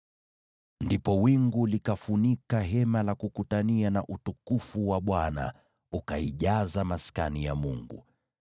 Ndipo wingu likafunika Hema la Kukutania, na utukufu wa Bwana ukaijaza Maskani ya Mungu.